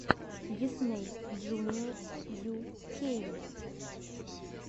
дисней джуниор ю кей